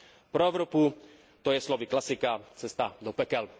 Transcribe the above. Pro Evropu to je slovy klasika cesta do pekel.